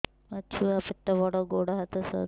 ମୋ ଛୁଆ ପେଟ ବଡ଼ ଗୋଡ଼ ହାତ ସରୁ